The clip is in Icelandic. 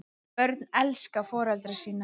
Börn elska foreldra sína.